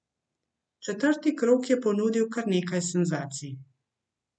Četrti krog je ponudil kar nekaj senzacij.